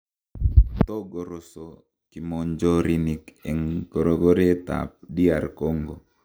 Kotorogoso kimonjorinik en korogoret ab DR Congo.